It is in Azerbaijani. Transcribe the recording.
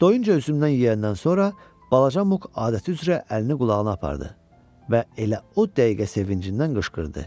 Doyunca üzümdən yeyəndən sonra balaca Muq adəti üzrə əlini qulağına apardı və elə o dəqiqə sevincindən qışqırdı.